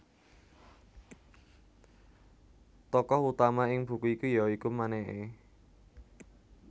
Tokoh utama ing buku iki ya iku Maneke